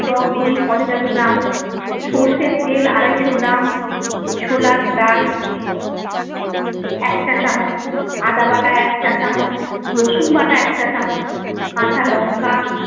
টকদই পঞ্চাশ গ্রাম, সর্ষের তেল আড়াইশো গ্রাম, ছোলার ডাল এক চা চামচ, আদা বাটা এক চা চামচ, রসুন বাটা এক চা চামচ, কাঁচা লঙ্কা